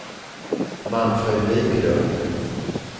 Manfred Viklund